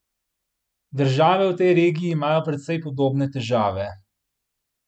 Države v tej regiji imajo precej podobne težave.